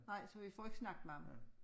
Nej så vi får ikke snakket med ham